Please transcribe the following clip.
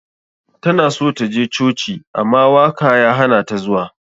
Tana so ta je coci ama waka ya hanata zuwa.